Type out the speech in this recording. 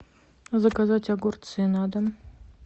заказать огурцы на дом